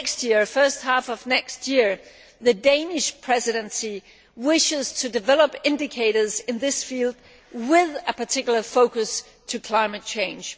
in the first half of next year, the Danish Presidency wishes to develop indicators in this field with a particular focus on climate change.